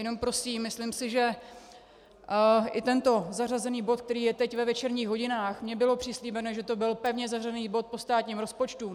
Jenom prosím, myslím si, že i tento zařazený bod, který je teď ve večerních hodinách, mně bylo přislíbeno, že to byl pevně zařazený bod po státním rozpočtu.